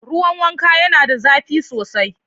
Ruwan wanka yana da zafi sosai.